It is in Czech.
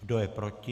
Kdo je proti?